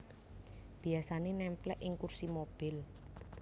Biyasané némplék ing kursi mobil